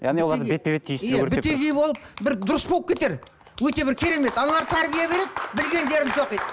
яғни оларды бетпе бет түйістіру иә болып бір дұрыс болып кетер өте бір керемет аналар тәрбие береді білгендерін тоқиды